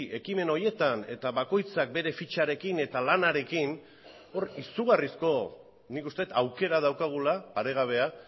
ekimen horietan eta bakoitzak bere fitxarekin eta lanarekin hor izugarrizko nik uste dut aukera daukagula paregabea